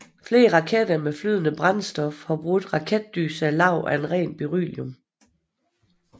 Flere raketter med flydende brændstofhar brugt raketdyser lavet af ren beryllium